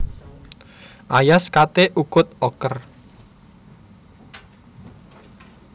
Ayas kate ukut oker